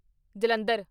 Jalandhar